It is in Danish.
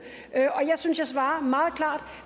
og jeg synes at jeg svarer meget klart